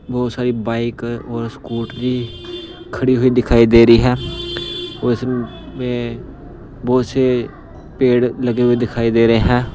बहुत सारी बाइक और स्कूटरी खड़ी हुई दिखाई दे रही है और इसमें बहुत से पेड़ लगे हुए दिखाई दे रहे हैं।